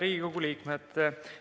Head Riigikogu liikmed!